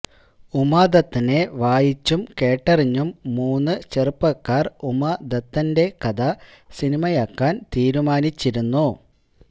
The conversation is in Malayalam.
ഉമാദത്തനെ വായിച്ചും കേട്ടറിഞ്ഞും മൂന്ന് ചെറുപ്പക്കാര് ഉമാദത്തന്റെ കഥ സിനിമയാക്കാന് തീരുമാനിച്ചിരുന്നു